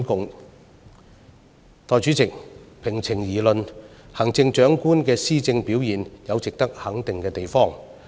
代理主席，平情而論，行政長官的施政表現有值得肯定的地方。